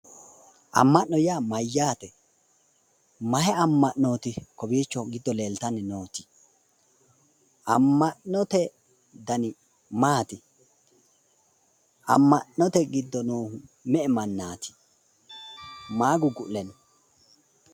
Amma'no yaa mayyaate? mayi amma'nooti kowiicho leeltanni noori? amma'note dani maati? amma'note giddo noohu me'e mannaati? maa guggu'le no?